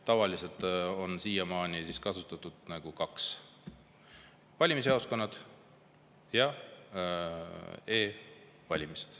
Tavaliselt on siiamaani kasutatud kaht: valimisjaoskonnad ja e-valimised.